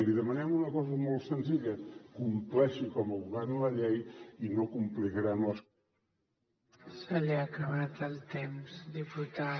li demanem una cosa molt senzilla compleixi com a govern la llei i no complicarem les